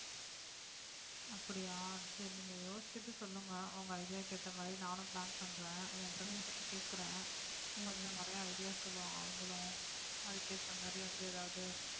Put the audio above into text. அப்படியா சரி நீங்க யோசிச்சிட்டு சொல்லுங்க உங்க idea க்கு ஏத்த மாதிரி நானும் plan பண்றேன் என் friend கிட்டயும் கேட்கறேன் கொஞ்சம் நிறைய idea சொல்லுவாங்க அவங்களும் அதுக்கு ஏத்த மாதிரி வந்து எதாவது